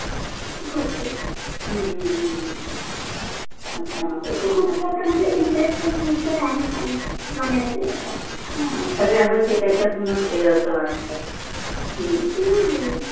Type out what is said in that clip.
okay हा खूप विषय आहे काहि बघायला गेल तर ह्म ह्म